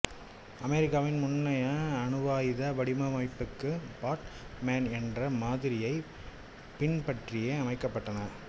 அமெரிக்காவின் முன்னைய அணுவாயுத வடிவமைப்புக்கு ஃபாட் மேன் என்ற மாதிரியைப் பின்பற்றியே அமைக்கப்பட்டன